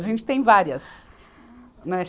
A gente tem várias. Né